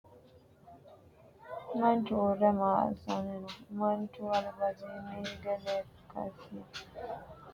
Manchu uure maa assanni no? Mancho albasiinni hige lekasi mulira ganba yee noohu maati? Manchu angasira amade noohu borrote uduunni maati?